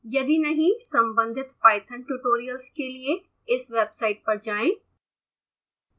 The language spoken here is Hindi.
यदि नहीं संबंधित पाइथन ट्यूटोरियल्स के लिए